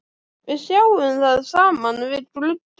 Við sjáum það saman við gluggann.